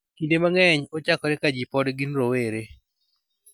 Kinde mang�eny, ochakore ka ji pod gin rowere.